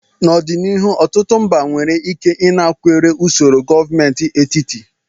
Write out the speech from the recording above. N'ọdịnihu, ọtụtụ mba nwere ike ịnakwere usoro gọọmentị etiti.